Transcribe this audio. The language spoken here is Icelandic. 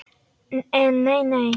En nei nei.